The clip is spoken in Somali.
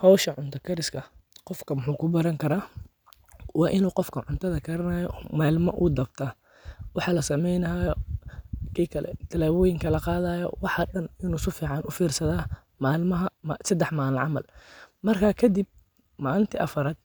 Howsha cunta kariska qofka wuxuu ku baran karaa, waa in qofka cuntaada garanayo ama ilma u dawda, waxaa lasameyni hayo, talaboyinka laqadhayo, waxaa dan in u si fican u firsadha, malmaha sadax malin camal, marka kadiib malinta afaraad